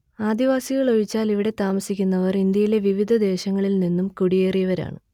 ആദിവാസികൾ ഒഴിച്ചാൽ ഇവിടെ താമസിക്കുന്നവർ ഇന്ത്യയിലെ വിവിധ ദേശങ്ങളിൽ നിന്നും കുടിയേറിയവരാണ്